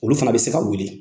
Olu fana bɛ se ka wele.